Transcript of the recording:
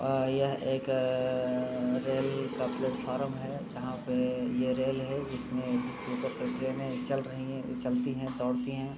और यह एक अअअ रेल का प्लेटफार्म है जहाँ पे यह रेल है। इसमें उपर से ट्रेनें चल रही है चलती है दोड़ती है।